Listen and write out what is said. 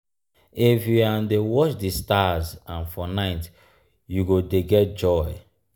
if you um dey watch di stars um for night you go dey get joy.